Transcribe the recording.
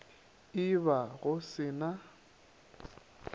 e ba go se na